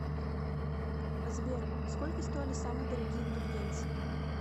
сбер сколько стоили самые дорогие индульгенции